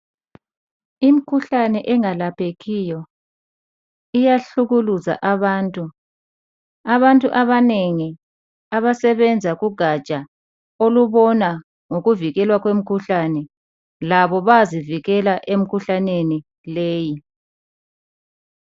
Imikhuhlane engalaphekiyo iyahlukuluza abantu . Abantu abanengi abasebenza kugatsha olubona ngokuvikelwa kwemikhuhlane labo bayazivikela emkhuhlaneni leyi.